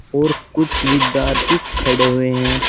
और कुछ विद्यार्थी खड़े हुए हैं।